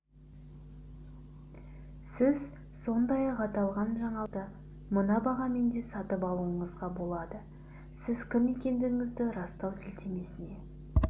сіз сондай-ақ аталған жаңалықты мына бағамен де сатып алуыңызға болады сіз кім екендігіңізді растау сілтемесіне